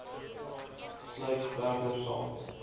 sluit verder sal